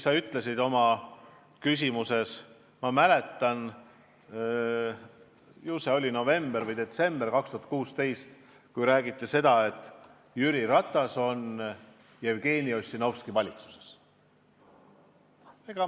Aga see sinu esimene repliik – ma mäletan, see oli november või detsember 2016, kui räägiti seda, et Jüri Ratas on liige Jevgeni Ossinovski valitsuses.